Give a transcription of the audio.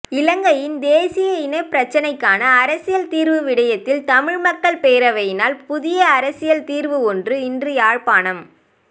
இலங்கையின் தேசிய இனப்பிரச்சினைக்கான அரசியல் தீர்வு விடையத்தில் தமிழ் மக்கள் பேரவையினால் புதிய அரசியல் தீர்வு ஒன்று இன்று யாழ்ப்பாணம்